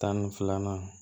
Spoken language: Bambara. Tan ni filanan